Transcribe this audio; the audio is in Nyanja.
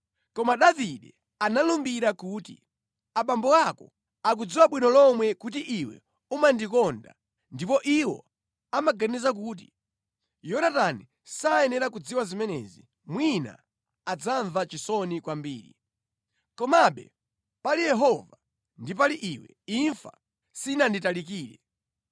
Koma Davide analumbira kuti, “Abambo ako akudziwa bwino lomwe kuti iwe umandikonda ndipo iwo amaganiza kuti, Yonatani sayenera kudziwa zimenezi mwina adzamva chisoni kwambiri. Komabe, pali Yehova ndi pali iwe, imfa sinanditalikire.”